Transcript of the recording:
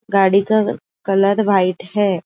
गाड़ी का colour white है।